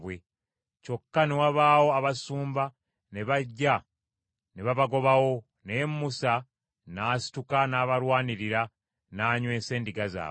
Kyokka ne wabaawo abasumba ne bajja ne babagobawo; naye Musa n’asituka n’abalwanirira, n’anywesa endiga zaabwe.